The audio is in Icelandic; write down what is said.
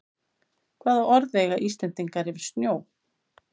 Hvaða orð eiga Íslendingar yfir snjó?